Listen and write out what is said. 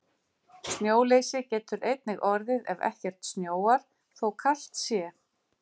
Snjóleysi getur einnig orðið ef ekkert snjóar, þó kalt sé.